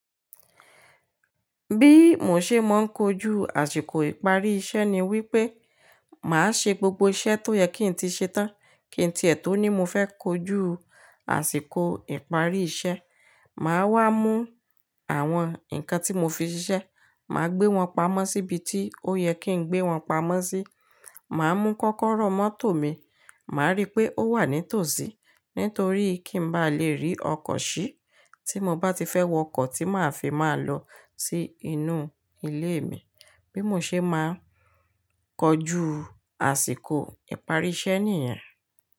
Bí mo ṣe máa ń kojú àsìkò ìparí iṣẹ́ ni wípé, màá ṣe gbogbo iṣẹ́ tó yẹ kí n tí ṣe tán kín tiè tò ni mo fẹ́ kojú àsìkò ìparí iṣẹ́. Màá wá mú àwọn ǹkan tí mo fi ṣiṣẹ́, màá gbé wọn pamọ́ síbi tí ó yẹ kí n gbé wọn pamọ́ sí. Màá mú kọ́kọ́rọ́ mọ́tò mi, màá rí pé ó wà ní tòsí, nítorí kí n bá lè rí ọkọ̀ ṣí tí mo bá ti fẹ́ wọ ọkọ̀ tí màá fi máa lọ sí inú ilé mi. Bí mo ṣe máa kojú àsìkò ìparí iṣẹ́ nìyẹn.